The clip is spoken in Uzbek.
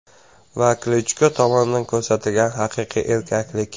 Va Klichko tomonidan ko‘rsatilgan haqiqiy erkaklik.